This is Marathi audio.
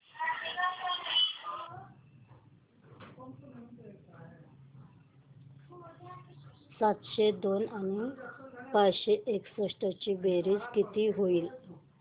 सातशे दोन आणि पाचशे एकसष्ट ची बेरीज किती होईल